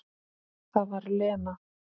Það var Lena.